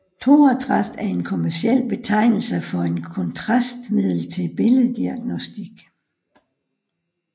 Thorotrast er en kommerciel betegnelse for et kontrastmiddel til billeddiagnostik